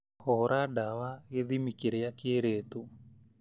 Hũra dawa gĩthimi kĩrĩa kĩrĩtwo.